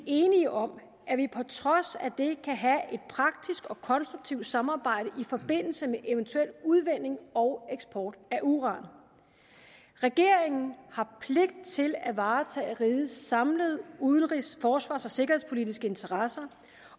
enige om at vi på trods af det kan have et praktisk og konstruktivt samarbejde i forbindelse med eventuel udvinding og eksport af uran regeringen har pligt til at varetage rigets samlede udenrigs forsvars og sikkerhedspolitiske interesser